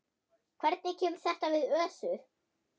Hvernig kemur þetta við Össur?